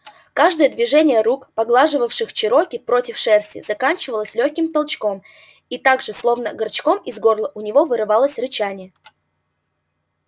каждое движение рук поглаживавших чероки против шерсти заканчивалось лёгким толчком и так же словно голчком из горла у него вырывалось рычание